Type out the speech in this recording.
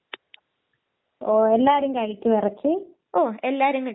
ഇറച്ചി കൂടുതല് കഴിച്ചാലും അത് നമ്മുടെ ശരീരത്തില് ദോഷാണ്